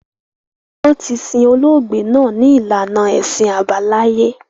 Wọn tí sin olóògbé náà ni ìlànà ẹṣin àbáláyé